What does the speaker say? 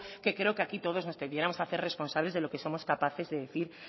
que creo que aquí todos nos debiéramos hacer responsables de lo que somos capaces de decir